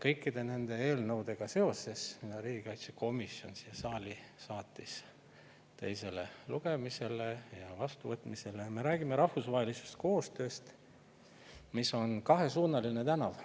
Kõikide nende eelnõudega seoses, mis riigikaitsekomisjon siia saali saatis teisele lugemisele ja vastuvõtmisele, me räägime rahvusvahelisest koostööst, mis on nagu kahesuunaline tänav.